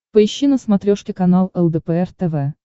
поищи на смотрешке канал лдпр тв